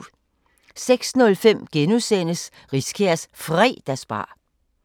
06:05: Riskærs Fredagsbar